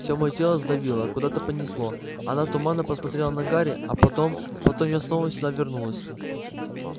всё моё тело сдавило куда-то понесло она туманно посмотрела на гарри а потом потом я снова сюда вернулась